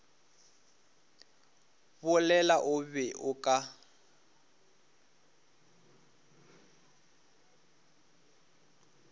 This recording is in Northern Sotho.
bolela o be o ka